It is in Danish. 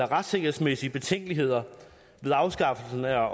retssikkerhedsmæssige betænkeligheder ved afskaffelsen af